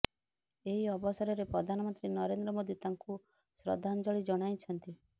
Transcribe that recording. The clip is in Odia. ଏହି ଅବସରରେ ପ୍ରଧାନମନ୍ତ୍ରୀ ନରେନ୍ଦ୍ର ମୋଦୀ ତାଙ୍କୁ ଶ୍ରଦ୍ଧାଞ୍ଜଳୀ ଜଣାଇଛନ୍ତି